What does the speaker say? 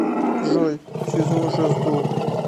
джой связной уже сдох